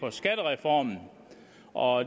en skattereform og